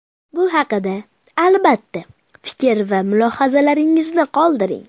Bu haqida, albatta, fikr va mulohazalaringizni qoldiring.